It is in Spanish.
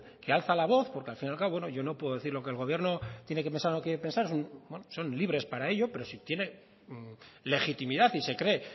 que alza la voz porque al fin y al cabo yo no puedo decir lo que el gobierno tiene que pensar o quiere pensar bueno son libres para ello pero si tiene legitimidad y se cree